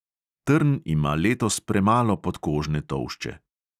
Trn ima letos premalo podkožne tolšče.